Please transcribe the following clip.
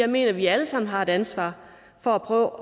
mener at vi alle sammen har et ansvar for at prøve